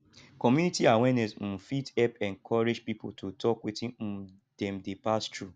community awareness um fit help encourage pipo to tok wetin um dem dey pass thru